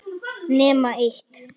Nema eitt.